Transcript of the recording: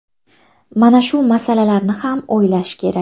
Mana shu masalalarni ham o‘ylash kerak.